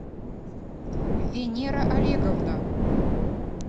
венера олеговна